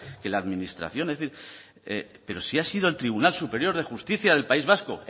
que la administración es decir pero si ha sido el tribunal superior de justicia del país vasco